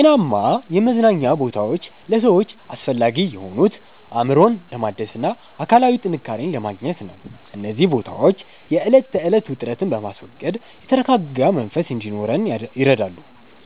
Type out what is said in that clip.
ጤናማ የመዝናኛ ቦታዎች ለሰዎች አስፈላጊ የሆኑት፣ አእምሮን ለማደስና አካላዊ ጥንካሬን ለማግኘት ነው። እነዚህ ቦታዎች የዕለት ተዕለት ውጥረትን በማስወገድ የተረጋጋ መንፈስ እንዲኖረን ይረዳሉ፤